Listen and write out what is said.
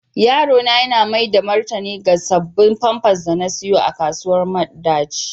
Yaro na yana maida martani ga sabbin pampas da na siyo a kasuwar madaci.